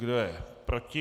Kdo je proti?